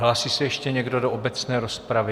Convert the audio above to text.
Hlásí se ještě někdo do obecné rozpravy?